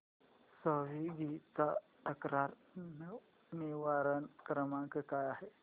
Swiggy चा तक्रार निवारण क्रमांक काय आहे